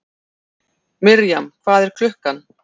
Mirjam, hvað er klukkan?